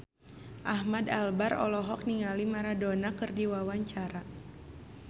Ahmad Albar olohok ningali Maradona keur diwawancara